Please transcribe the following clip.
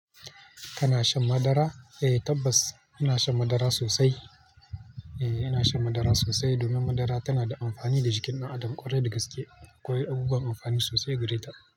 Kana shan madara? Eh tabbas, ina shan madara sosai. Eh ina shan madara sosai domin madara tana da amfani da jikin ɗan adam ƙwarai da gaske. Akwai abubuwan amfanin sosai gare ta.